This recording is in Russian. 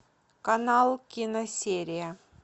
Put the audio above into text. канал киносерия